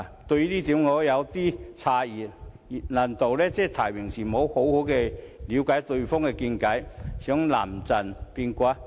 這委實令我感到有點詫異，難道是在提名時未有好好了解對方的見解，故此想臨陣變卦？